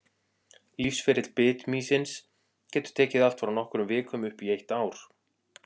Lífsferill bitmýsins getur tekið allt frá nokkrum vikum upp í eitt ár.